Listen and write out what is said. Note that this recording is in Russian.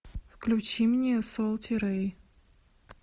включи мне солти рэй